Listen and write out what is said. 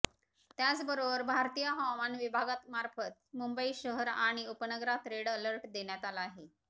त्याचबरोबर भारतीय हवामान विभागामार्फत मुंबई शहर आणि उपनगरात रेड अलर्ट देण्यात आला आहे